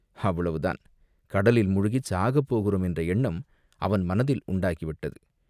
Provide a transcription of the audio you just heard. அவ்வளவு தான் கடலில் முழுகிச் சாகப் போகிறோம் என்ற எண்ணம் அவன் மனத்தில் உண்டாகிவிட்டது